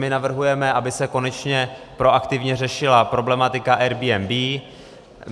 My navrhujeme, aby se konečně proaktivně řešila problematika Airbnb.